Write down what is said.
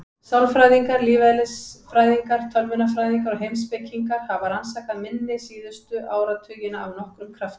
Sálfræðingar, lífeðlisfræðingar, tölvunarfræðingar og heimspekingar hafa rannsakað minni síðustu áratugina af nokkrum krafti.